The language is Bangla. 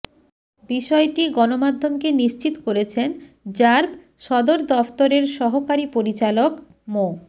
বিষয়টি গণমাধ্যমকে নিশ্চিত করেছেন র্যাব সদরদফতরের সহকারী পরিচালক মো